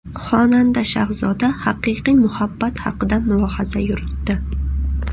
Xonanda Shahzoda haqiqiy muhabbat haqida mulohaza yuritdi.